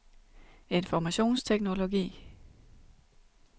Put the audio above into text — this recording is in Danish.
informationsteknologi